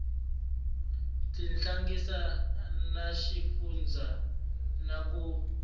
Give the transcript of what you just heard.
tihlanganisa na xifundzha na ku